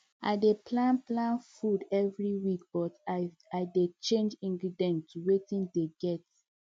i dey plan plan food every week but i dey change ingredients to watin dey i get